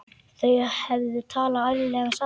Þau hefðu talað ærlega saman.